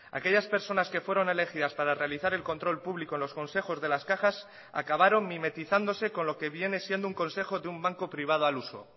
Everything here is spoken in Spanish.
aquellas personas que fueron elegidas para realizar el control público en los consejos de las cajas acabaron mimetizándose con lo que viene siendo un consejo de un banco privado al uso